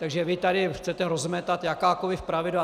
Takže vy tady chcete rozmetat jakákoliv pravidla.